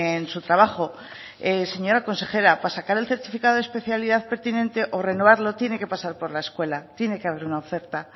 en su trabajo señora consejera para sacer el certificado de especialidad pertinente o renovarlo tiene que pasar por la escuela tiene que haber una oferta